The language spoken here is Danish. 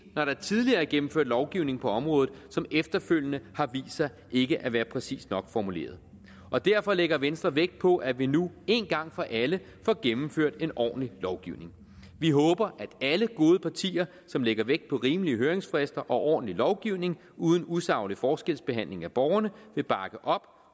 når der tidligere er gennemført lovgivning på området som efterfølgende har vist sig ikke at være præcist nok formuleret og derfor lægger venstre vægt på at vi nu én gang for alle får gennemført en ordentlig lovgivning vi håber at alle gode partier som lægger vægt på rimelige høringsfrister og ordentlig lovgivning uden usaglig forskelsbehandling af borgerne vil bakke op